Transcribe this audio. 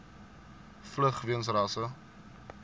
vlug weens rasse